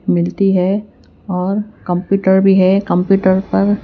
मिलती है और कंप्यूटर भी है कंप्यूटर पर--